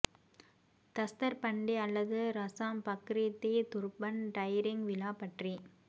தஸ்தர் பண்டி அல்லது Rasam Pagri the turban டைரிங் விழா பற்றி